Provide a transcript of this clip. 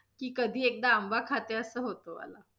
की, कधी एकदा आंबा खाते अस होतं मला.